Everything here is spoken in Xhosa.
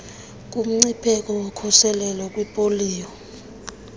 kumngcipheko wokosuleleka yipoliyo